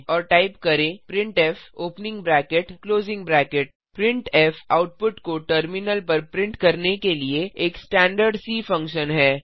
और टाइप करें printf opening bracket closing bracket printf output को टर्मिनल पर प्रिंट करने के लिए एक स्टैंडर्ड सी फंक्शन है